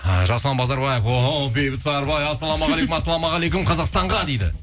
і жасұлан базарбаев о оу бейбіт сарыбай ассалаумағалейкум ассалаумағалейкум қазақстанға дейді